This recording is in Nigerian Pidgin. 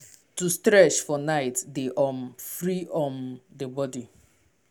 stretch body well for um night dey remove ten sion.